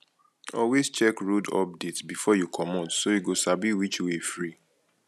always check road update before you comot so you go sabi which way free